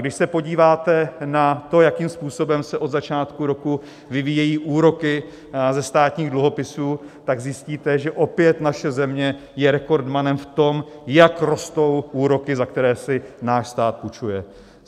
Když se podíváte na to, jakým způsobem se od začátku roku vyvíjejí úroky ze státních dluhopisů, tak zjistíte, že opět naše země je rekordmanem v tom, jak rostou úroky, za které si náš stát půjčuje.